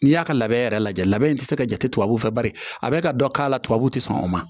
N'i y'a ka labɛn yɛrɛ lajɛ i tɛ se ka jate tubabuw fɛ bari a bɛ ka dɔ k'a la tubabuw tɛ sɔn o ma